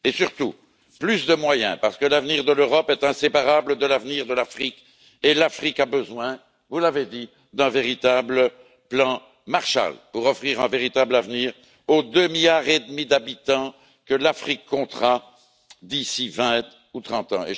Mais aussi et surtout plus de moyens, parce que l'avenir de l'Europe est inséparable de l'avenir de l'Afrique et que l'Afrique a besoin, vous l'avez dit, d'un véritable plan Marshall pour offrir un véritable avenir aux 2,5 milliards d'habitants que l'Afrique comptera d'ici 20 ou 30 ans.